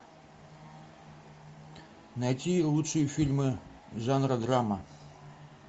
найти лучшие фильмы жанра драма